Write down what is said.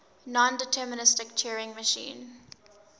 nondeterministic turing machine